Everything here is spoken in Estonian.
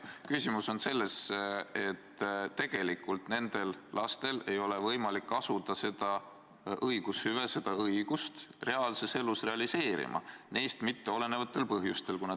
Küsimus on selles, et tegelikult ei ole nendel lastel võimalik asuda seda õigushüve, seda õigust, reaalses elus realiseerima neist mitteolenevatel põhjustel.